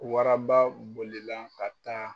Waraba bolila ka taa.